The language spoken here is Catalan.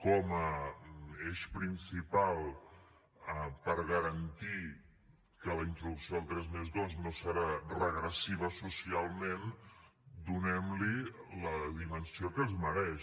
com a eix principal per garantir que la introducció del tres+dos no serà regressiva socialment donem li la dimensió que es mereix